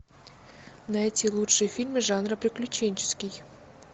найти лучшие фильмы жанра приключенческий